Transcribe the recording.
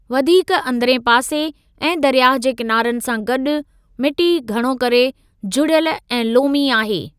वधीक अंदरिएं पासे ऐं दरियाह जे किनारनि सां गॾु, मिटी घणो करे जुड़ियल ऐं लोमी आहे।